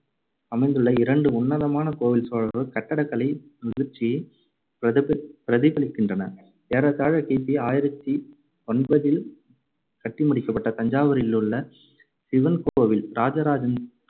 அமைந்துள்ள இரண்டு உன்னதமான கோவில் சோழர்களின் கட்டடக்கலை முதிர்ச்சியைப் பிரதிப~ பிரதிபலிக்கின்றன. ஏறத்தாழ கி பி ஆயிரத்தி ஒன்பதில் கட்டிமுடிக்கப்பட்ட தஞ்சாவூரிலுள்ள சிவன் கோவில் ராஜாராஜன்